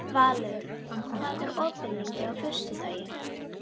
Valur, hvað er opið lengi á föstudaginn?